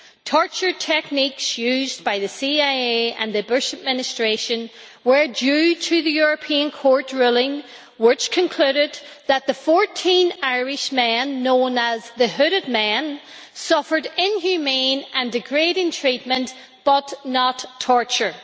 Torture techniques used by the CIA and the Bush administration were due to the European Court ruling which concluded that the 14 Irishmen, known as the Hooded Men, suffered inhumane and degrading treatment, but not torture.